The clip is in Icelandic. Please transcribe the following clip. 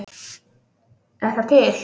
Er það til?